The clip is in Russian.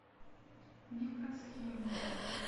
микросхема